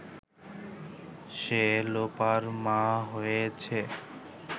সে লোপার মা হয়েছে